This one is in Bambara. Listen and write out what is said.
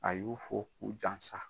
A y'u fo k'u jansa